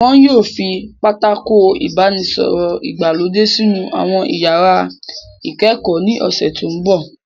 Wọn yóò fi Pátákó ìbánisọ̀rọ̀ ìgbàlódé sínú àwọn iyàrá ìkẹ́kọ̀ọ́ ní ọ̀sẹ̀ tó mbọ̀